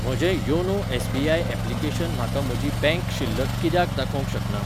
म्हजें YONO SBI application म्हाका म्हजी बँक शिल्लक कित्याक दाखोवंक शकना?